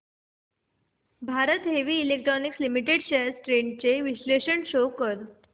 Bharat heavy electricals limited shares trends चे विश्लेषण show कर